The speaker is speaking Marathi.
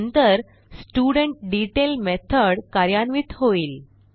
नंतर स्टुडेंटडेतैल मेथॉड कार्यान्वित होईल